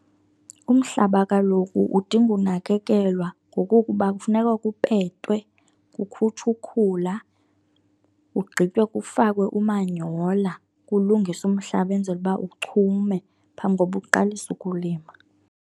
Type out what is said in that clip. Umhlaba kaloku udinga unakekelwa ngokokuba kufuneka kupetwe, kukhutshwe ukhula, kugqitywe kufakwe umanyola kulungiswe umhlaba enzele uba uchume phambi koba uqalise ukulima.